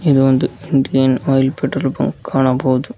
ಇದು ಒಂದು Indian Oil petrol pump ಕಾಣಬಹುದು.